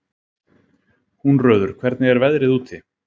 Húnröður, hvernig er veðrið úti?